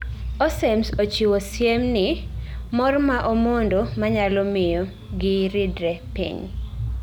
Aussems ochiwo siemni mor ma omondo manyalomiyo gi ridre piny